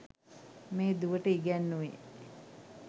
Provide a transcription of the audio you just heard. මේ දුවට ඉගැන්නුවේ.